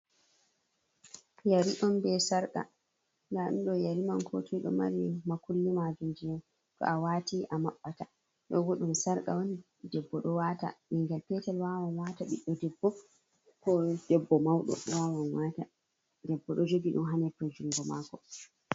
Yeri on be sarka nda ɗum ɗo yeri man nda ɗum ɗo kotoi ɗo mari makulli majum je to'a wati amaɓɓata dou godum sarka on debbo dou wata, ɓingel petel wawan wata, ɓiɗɗo debbo ko debbo mauɗo wawan wata, debbo ɗo jogi ɗum ha nepel jungo mako.